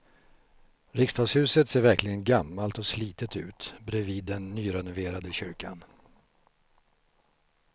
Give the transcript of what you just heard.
Riksdagshuset ser verkligen gammalt och slitet ut bredvid den nyrenoverade kyrkan.